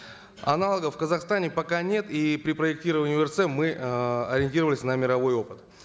аналогов в казахстане пока нет и при проектировании орц мы эээ ориентировались на мировой опыт